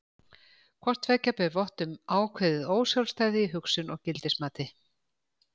Hvort tveggja ber vott um ákveðið ósjálfstæði í hugsun og gildismati.